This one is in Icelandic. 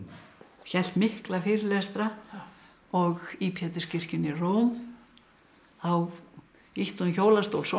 hélt mikla fyrirlestra og í Péturskirkjunni í Róm þá ýtti hún hjólastól sonar